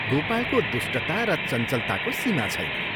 " गोपालको दुष्टता र चञ्चलताको सीमा छैन।